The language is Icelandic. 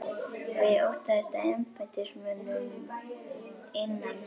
Og ég óttaðist að embættismönnum innan